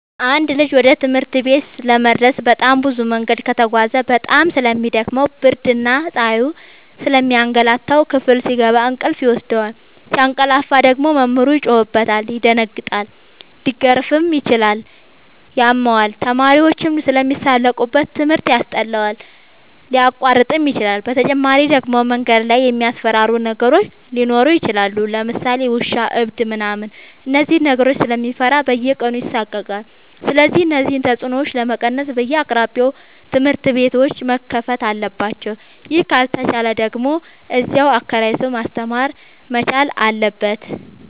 አንድ ልጅ ወደ ትምህርት ቤት ለመድረስ በጣም ብዙ መንገድ ከተጓዘ በጣም ስለሚ ደክመው ብርድና ፀሀዩ ስለሚያገላታው። ክፍል ሲገባ እንቅልፍ ይወስደዋል። ሲያቀላፍ ደግሞ መምህሩ ይጮህበታል ይደነግጣል ሊገረፍም ይችላል ያመዋል፣ ተማሪዎችም ስለሚሳለቁበት ትምህርት ያስጠላዋል፣ ሊያቋርጥም ይችላል። በተጨማሪ ደግሞ መንገድ ላይ የሚያስፈራሩ ነገሮች ሊኖሩ ይችላሉ ለምሳሌ ውሻ እብድ ምናምን እነዚህን ነገሮች ስለሚፈራ በየቀኑ ይሳቀቃል። ስለዚህ እነዚህን ተፅኖዎች ለመቀነስ በየአቅራቢያው ትምህርት ቤቶዎች መከፈት አለባቸው ይህ ካልተቻለ ደግሞ እዚያው አከራይቶ ማስተማር መቻል አለበት።